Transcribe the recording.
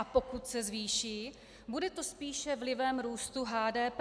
A pokud se zvýší, bude to spíše vlivem růstu HDP.